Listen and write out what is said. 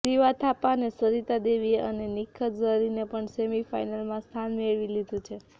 શિવા થાપા અને સરિતા દેવીએ અને નિખત ઝરીને પણ સેમિફાઇનલમાં સ્થાન મેળવી લીધુ છે